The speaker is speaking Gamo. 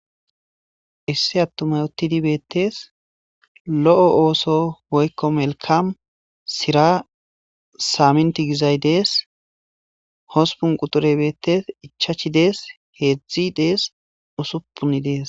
issi attumay uttidi beettees lo7o ooso woykko melkam sira saaminti gizay dees hospun qudure beettes ichachi dees heedzdzi dees usuppun dees